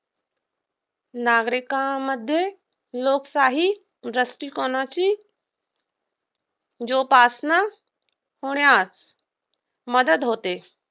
नागरिकांमध्ये लोकशाही दृष्टिकोणाची जोपासना होण्यास मदत होते.